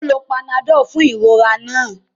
O lò panadol fún ìrora náà